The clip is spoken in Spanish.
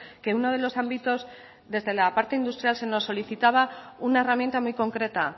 que uno de los ámbitos desde la parte industrial se nos solicitaba una herramienta muy concreta